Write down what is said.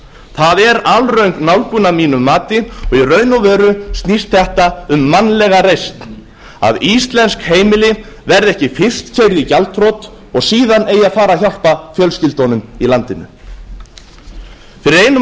það er alröng nálgun að mínu mati og í raun og veru snýst þetta um mannlega reisn að íslensk heimili verði ekki fyrst keyrð í gjaldþrot og síðan eigi að fara að hjálpa fjölskyldunum í landinu fyrir einum og